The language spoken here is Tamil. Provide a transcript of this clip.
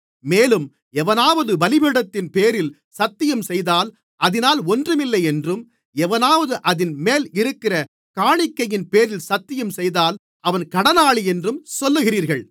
மேலும் எவனாவது பலிபீடத்தின்பேரில் சத்தியம்செய்தால் அதினால் ஒன்றுமில்லையென்றும் எவனாவது அதின்மேல் இருக்கிற காணிக்கையின்பேரில் சத்தியம்செய்தால் அவன் கடனாளியென்றும் சொல்லுகிறீர்கள்